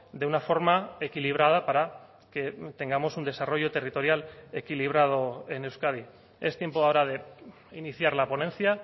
de una forma equilibrada para que tengamos un desarrollo territorial equilibrado en euskadi es tiempo ahora de iniciar la ponencia